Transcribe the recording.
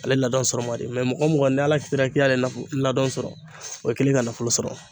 Ale ladon sɔrɔ man di mɛ mɔgɔ mɔgɔ ni Ala kitira k'i y'a la ladon sɔrɔ o y'i kɛlen ka nafolo sɔrɔ